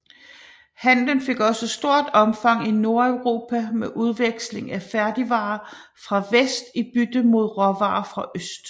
Handelen fik også stort omfang i Nordeuropa med udveksling af færdigvarer fra vest i bytte mod råvarer fra øst